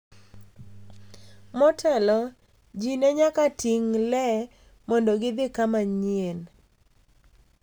Motelo, ji ne nyaka ting’ le mondo gidhi kama manyien .